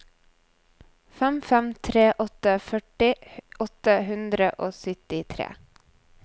fem fem tre åtte førti åtte hundre og syttitre